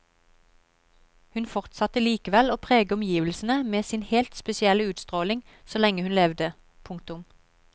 Hun fortsatte likevel å prege omgivelsene med sin helt spesielle utstråling så lenge hun levde. punktum